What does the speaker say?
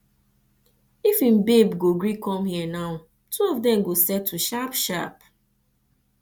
if im babe go gree come here now two of dem go settle sharp sharp